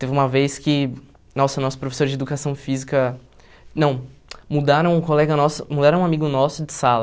Teve uma vez que, nossa, nosso professor de educação física, não, mudaram um colega nosso, mudaram um amigo nosso de sala,